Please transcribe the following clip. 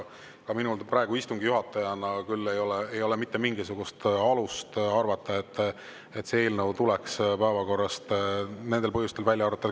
Ka minul praegu istungi juhatajana ei ole küll mitte mingisugust alust arvata, et see eelnõu tuleks sellel põhjusel päevakorrast välja arvata.